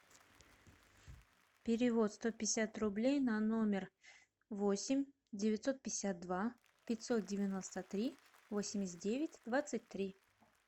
перевод сто пятьдесят рублей на номер восемь девятьсот пятьдесят два пятьсот девяносто три восемьдесят девять двадцать три